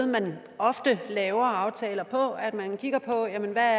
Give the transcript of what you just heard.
man ofte laver aftaler på altså at man kigger på hvad